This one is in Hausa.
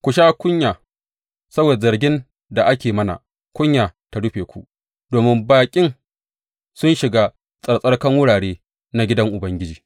Mun sha kunya saboda zargin da ake yi mana kunya ta rufe mu, domin baƙi sun shiga tsarkakan wurare na gidan Ubangiji.